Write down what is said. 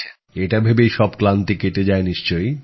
এটা ভেবেই সব ক্লান্তি কেটে যায় নিশ্চয়ই